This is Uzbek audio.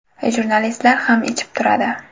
Jurnalistlar ham ichib turadi.